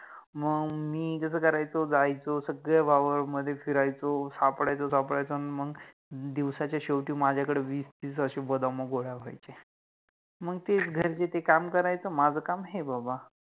मंग मि कस करायचो जायचो सगळ्या वावरामधे फिरायचो सापडायचो सापडायचो आणि मंग दिवसाच्या शेवटि माझ्याकडे वीस तीस अशे बदाम गोळा व्हायचे, मंग तेच घरचे ते काम करायच माझ काम हे बाबा